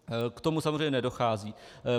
K tomu samozřejmě nedochází.